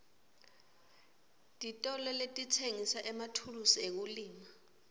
titolo letitsengisa emathulusi ekulima